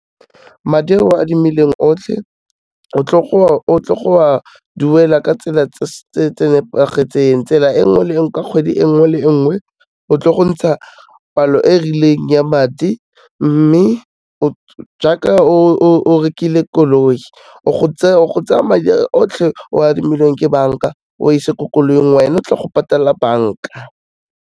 Madi a o a adimileng otlhe, o tlo go a duela ka tsela tse nepagetseng, tsela e nngwe le e nngwe, ka kgwedi e nngwe le nngwe, o tlo gontsha palo e rileng ya madi, mme jaaka o rekile koloi, o go tsaya madi otlhe ao adimilweng ke banka, o a ise ko koloing, wena o tle go patela banka.